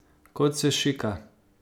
Kot se šika.